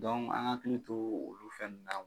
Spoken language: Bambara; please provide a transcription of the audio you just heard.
an k'an hakili to olu fɛ nunnu na